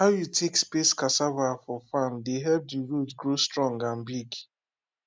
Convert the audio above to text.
how you take space cassava for farm dey help the root grow strong and big